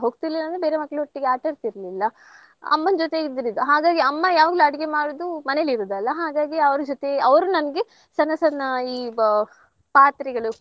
ಹೋಗ್ತಿರ್ಲಿಲ್ಲ ಅಂದ್ರೆ ಬೇರೆ ಮಕ್ಳೊಟ್ಟಿಗೆ ಆಟಾಡ್ತಿರ್ಲಿಲ್ಲ. ಅಮ್ಮನ್ನ್ ಜೊತೆ ಇದ್ದಿರದು ಹಾಗಾಗಿ ಅಮ್ಮ ಯಾವಾಗ್ಲು ಅಡುಗೆ ಮಾಡೋದು ಮನೇಲಿ ಇರುದಲ್ಲ ಹಾಗಾಗಿ ಅವ್ರ್ ಜೊತೆ ಅವ್ರ್ ನಂಗೆ ಸಣ್ಣ ಸಣ್ಣ ಈ ಬ~ ಪಾತ್ರೆಗಳು